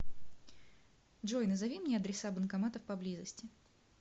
джой назови мне адреса банкоматов поблизости